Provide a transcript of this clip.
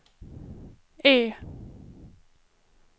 E